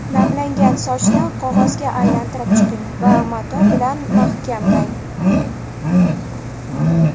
Namlangan sochni qog‘ozga aylantirib chiqing va mato bilan mahkamlang.